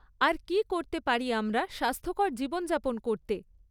আর কী করতে পারি আমরা স্বাস্থ্যকর জীবনযাপন করতে?